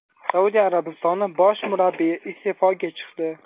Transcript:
Saudiya Arabistoni bosh murabbiyi iste’foga chiqdi.